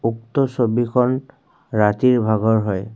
উক্ত ছবিখন ৰাতিৰ ভাগৰ হয়।